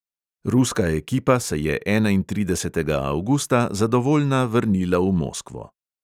Ruska ekipa se je enaintridesetega avgusta zadovoljna vrnila v moskvo.